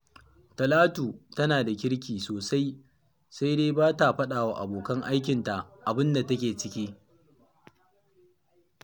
Talatu tana da kirki sosai, sai dai ba ta faɗa wa abokan aikinta abin da take ciki